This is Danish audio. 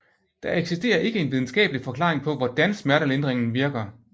Der eksisterer ikke en videnskabelig forklaring på hvordan smertelindringen virker